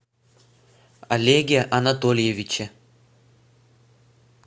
олеге анатольевиче